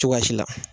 Cogoya si la